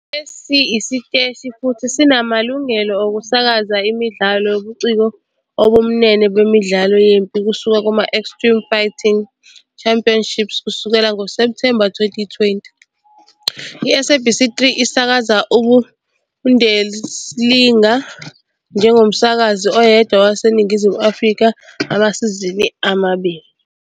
Lesi siteshi futhi sinamalungelo okusakaza imidlalo yobuciko obubumbene bemidlalo yempi kusuka kuma-Extreme Fighting Championships Kusukela ngoSepthemba 2020, iSABC 3 isakaza iBundesliga njengomsakazi oyedwa waseNingizimu Afrika amasizini amabili